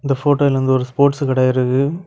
இந்த போட்டோல வந்து ஒரு ஸ்போர்ட்ஸ் கடை இருக்கு.